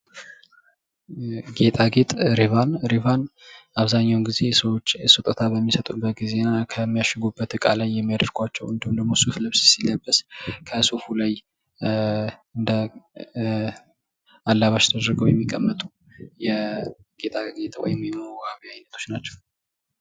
ጌጣጌጥ ሪቫን አብዛኛውን ጊዜ ሰዎች ስጦታ በሚሰጡበት ጊዜ እና ከሚያሽጉበት እቃ ላይ የሚያደርጓቸው እንዲሁም ደግሞ ፤ሱፍ ልብስ ሲለበስ ከሱፉ ላይ እንደ አላባሽ ተደርገው የሚቀመጡ የጌጥጌጥ የመዋቢያ አይነቶች ናቸው።